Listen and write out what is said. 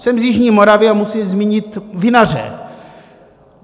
Jsem z jižní Moravy a musím zmínit vinaře.